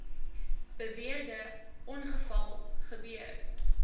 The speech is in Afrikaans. beweerde ongeval gebeur